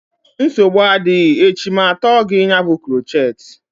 Nsogbu adịghị echi ma atọọ gị ya bụ krochet